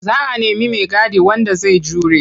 Za a nemi maigadi wanda zai jure.